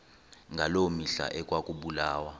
ngaloo mihla ekwakubulawa